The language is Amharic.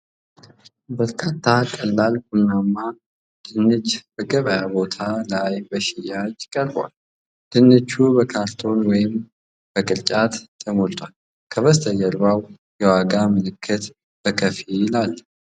በርካታ ቀላል ቡናማ ድንች በገበያ ቦታ ላይ በሽያጭ ቀርበዋል። ድንቹ በካርቶን ወይም በቅርጫት ተሞልተው፣ ከበስተጀርባው የዋጋ ምልክት በከፊል አለ ።